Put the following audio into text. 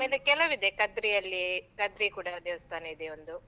ಆಮೇಲೆ ಕೆಲವಿದೆ, ಕದ್ರಿಯಲ್ಲಿ, ಕದ್ರಿ ಕೂಡ ದೇವಸ್ಥಾನ ಇದೆ ಒಂದು.